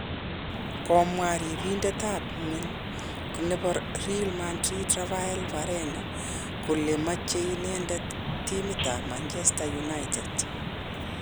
komwa riibindet ab kwen nebo Real Madrin Raphael Varane kole, meche inendet timit ab Manchester United